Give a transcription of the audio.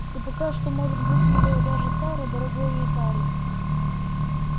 и пока что может будь милее даже тары дорогой её тары